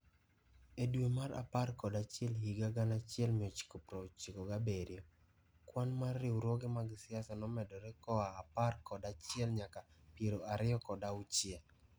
E dwe mar apar kod achiel higa 1997, kwan mar riwruoge mag siasa nomedore koa apar kod achiel nyaka piero ariyo kod auchiel.